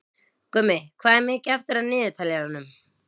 Gummi, hvað er mikið eftir af niðurteljaranum?